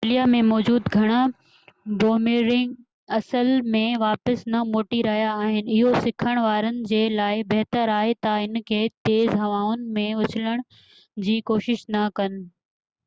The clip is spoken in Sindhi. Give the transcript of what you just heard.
آسٽريليا ۾ موجود گهڻا بوميرنگ اصل م واپس نہ موٽي رهيا آهن اهو سکڻ وارن جي لاءِ بهتر آهي تہ ان کي تيز هوائن ۾ اُڇلڻ جي ڪوشش نہ ڪن